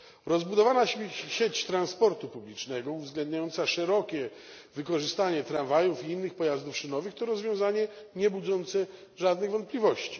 Rozbudowana sieć transportu publicznego uwzględniająca szerokie wykorzystanie tramwajów i innych pojazdów szynowych to rozwiązanie niebudzące żadnych wątpliwości.